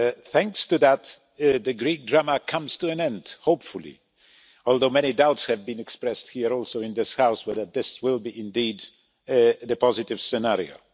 Thanks to that, the Greek drama is coming to an end, hopefully, although many doubts have been expressed including in this House as to whether this will indeed be the positive scenario.